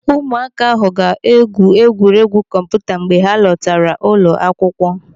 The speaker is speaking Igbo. Ụmụaka ahụ ga-egwu egwuregwu kọmputa mgbe ha lọtara ụlọ akwụkwọ.